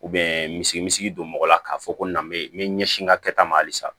misiri don mɔgɔ la k'a fɔ ko n na n bɛ ɲɛsin n ka kɛta ma halisa